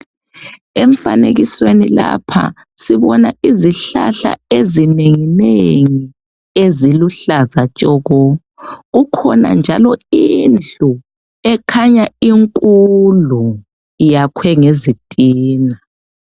Emfanekisweni lapha sibona izihlahla ezinenginengi eziluhlaza tshoko. Kukhona njalo indlu ekhanya inkulu iyakhwe ngezitina.